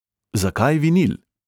Zakaj vinil?